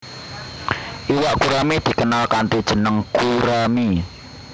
Iwak gurami dikenal kanthi jeneng gurami